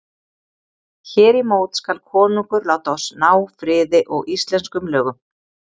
Hér í mót skal konungur láta oss ná friði og íslenskum lögum.